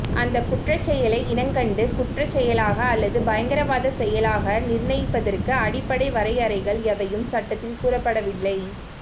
அந்தக் குற்றச் செயலை இனங்கண்டு குற்றச் செயலாக அல்லது பயங்கரவாதச் செயலாக நிர்ணயிப்பதற்கு அடிப்படை வரையறைகள் எவையும் சட்டத்தில் கூறப்படவில்லை